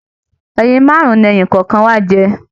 Ẹyin márùn ní ẹni kọọkan wà jẹ